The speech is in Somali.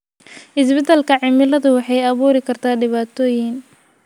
Isbeddelka cimiladu waxay abuuri kartaa dhibaatooyin.